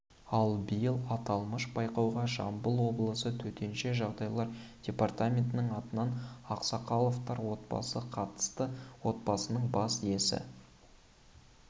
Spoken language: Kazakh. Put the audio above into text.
ал биыл аталмыш байқауға жамбыл облысы төтенше жағдайлар департаментінің атынан ақсақаловтар отбасы қатысты отбасының бас иесі